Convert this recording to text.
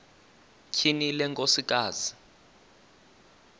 tyhini le nkosikazi